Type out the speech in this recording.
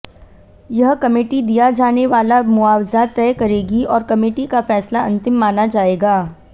यह कमेटी दिया जाने वाला मुआवज़ा तय करेगी और कमेटी का फ़ैसला अंतिम माना जायेगा